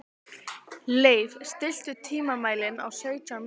Leif, stilltu tímamælinn á sautján mínútur.